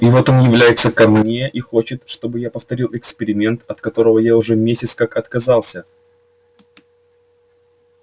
и вот он является ко мне и хочет чтобы я повторил эксперимент от которого я уже месяц как отказался